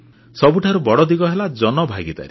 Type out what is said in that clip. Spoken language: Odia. ସବୁଠାରୁ ବଡ଼ ଦିଗ ହେଲା ଜନ ଭାଗିଦାରୀ